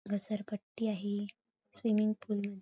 घसरपट्टी आहे swimming pool --